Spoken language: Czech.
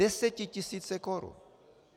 Desetitisíce korun!